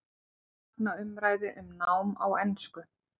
Fagna umræðu um nám á ensku